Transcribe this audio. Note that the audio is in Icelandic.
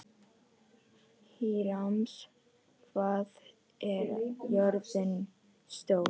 Híram, hvað er jörðin stór?